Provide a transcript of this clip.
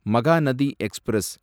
Mahanadi express